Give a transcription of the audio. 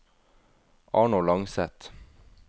Arnold Langseth